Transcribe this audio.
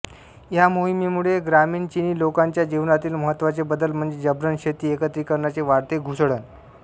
ह्या मोहिमेमुळे ग्रामीण चीनी लोकांच्या जीवनातील महत्त्वाचे बदल म्हणजे जब्रण शेती एकत्रीकरणाचे वाढते घुसडण